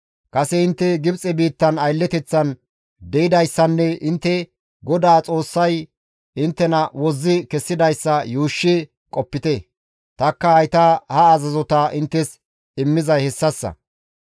Kase intte Gibxe biittan aylleteththan de7idayssanne intte GODAA Xoossay inttena wozzi kessidayssa yuushshi qopite; tanikka hayta ha azazota inttes immizay hessassa.